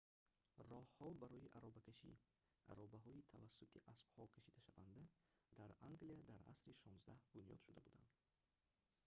роҳҳо барои аробакашӣ аробаҳои тавассути аспҳо кашидашаванда дар англия дар асри 16 бунёд шуда буданд